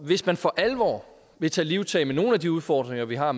hvis man for alvor ville tage livtag med nogle af de udfordringer vi har